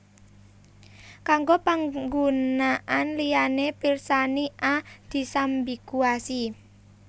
Kanggo panggunaan liyané pirsani A disambiguasi